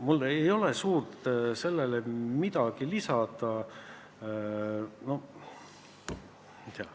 Mul ei ole suurt midagi lisada.